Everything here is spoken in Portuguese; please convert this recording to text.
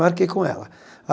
Marquei com ela.